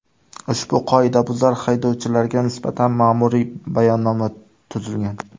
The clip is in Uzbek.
Ushbu qoidabuzar haydovchilarga nisbatan ma’muriy bayonnoma tuzilgan.